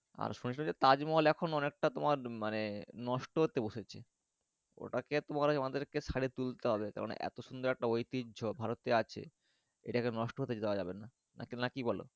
আর শুনেছি তাজমহল এখন অনেকটা তোমার মানে নষ্ট হোতে বসেছে ওটা কে তোমার আমাদের কে সড়িয়ে তুলতে হবে কারণ এত সুন্দর একটা ঐতিহ্য ভারতে আছে এটাকে নষ্ট হতে দেওয়া যাবেন না কি বোলো।